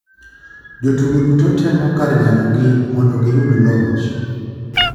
Jo tugo duto temo kar nyalo gi mondo giyud loch.